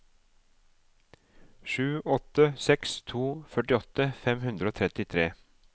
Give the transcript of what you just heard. sju åtte seks to førtiåtte fem hundre og trettitre